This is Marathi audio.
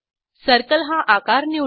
सर्कल हा आकार निवडू